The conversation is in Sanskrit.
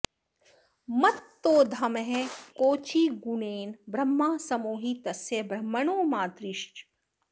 मत्तोधमः कोचिगुणेन ब्रह्मा समो हि तस्य ब्रह्मणो मातरिश्व